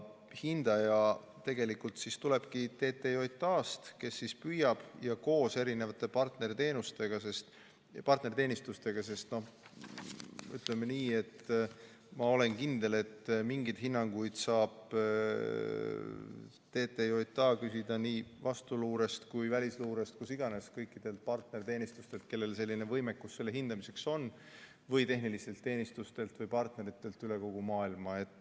Hindaja tegelikult tulebki TTJA-st, kes püüab koos erinevate partnerteenistustega, sest ütleme nii, et ma olen kindel, et mingeid hinnanguid saab TTJA küsida nii vastuluurest kui ka välisluurest või kust iganes, kõikidelt partnerteenistustelt, kellel selline võimekus selle hindamiseks on, tehnilistelt teenistustelt ja partneritelt üle kogu maailma.